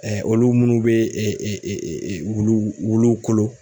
olu minnu bɛ wulu wulu wulu kolo.